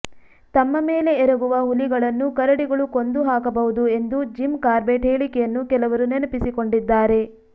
ತಮ್ಮ ಮೇಲೆ ಎರಗುವ ಹುಲಿಗಳನ್ನು ಕರಡಿಗಳು ಕೊಂದೂ ಹಾಕಬಹುದು ಎಂದು ಜಿಮ್ ಕಾರ್ಬೆಟ್ ಹೇಳಿಕೆಯನ್ನು ಕೆಲವರು ನೆನಪಿಸಿಕೊಂಡಿದ್ದಾರೆ